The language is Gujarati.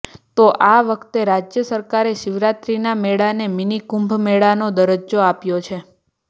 તો આ વખતે રાજ્ય સરકારે શિવરાત્રીના મેળાને મિનિકુંભ મેળાનો દરજ્જો આપ્યો છે